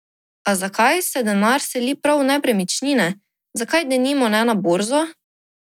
A zakaj se denar seli prav v nepremičnine, zakaj denimo ne na borzo?